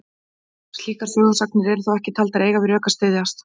Slíkar sögusagnir eru þó ekki taldar eiga við rök að styðjast.